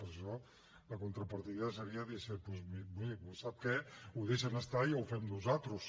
per això la contrapartida seria dir doncs miri sap què ho deixen estar i ho fem nosaltres